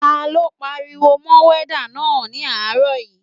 Ta ló pariwo mọ wádà náà ní àárọ̀ yìí?